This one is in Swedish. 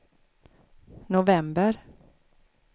november